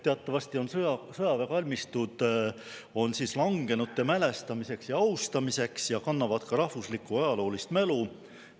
Teatavasti on sõjaväekalmistud langenute mälestamiseks ja austamiseks ja kannavad ka rahvuslikku ajaloolist mälu.